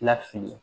Lafili